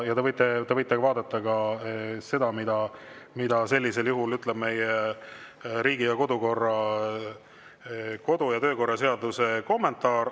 Te võite vaadata ka seda, mida sellisel puhul ütleb meie kodu‑ ja töökorra seaduse kommentaar.